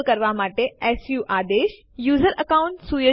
હવે આપણે આ બે ફાઈલો પર સીએમપી આદેશ લાગુ પાડી શકીએ છીએ